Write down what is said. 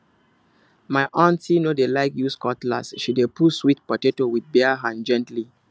my aunty no dey like use cutlass she dey pull sweet potato with bare hand gently